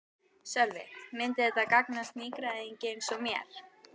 Sölvi: Myndi þetta gagnast nýgræðingi eins og mér?